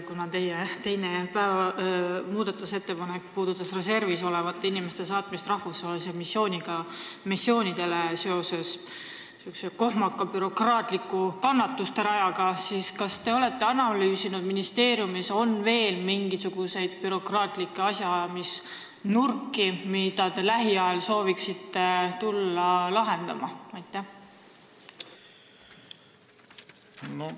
Kuna teie teine muudatusettepanek puudutas reservis olevate inimeste saatmist rahvusvahelistele missioonidele seoses sihukese kohmaka bürokraatliku kannatusterajaga, siis küsin: kas te olete analüüsinud, on ministeeriumis veel mingisuguseid bürokraatlikke asjaajamisprobleeme, mida te lähiajal sooviksite tulla lahendama?